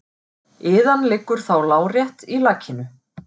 Iðan liggur þá lárétt í lakinu.